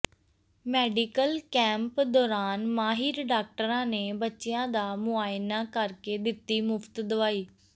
medical camp ਦੌਰਾਨ ਮਾਹਿਰ ਡਾਕਟਰਾਂ ਨੇ ਬੱਚਿਆਂ ਦਾ ਮੁਆਇਨਾ ਕਰਕੇ ਦਿੱਤੀ ਮੁਫ਼ਤ ਦਵਾਈ